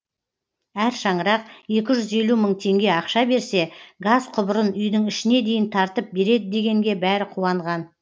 әр шаңырақ екі жүз елу мың теңге ақша берсе газ құбырын үйдің ішіне дейін тартып береді дегенге бәрі қуанған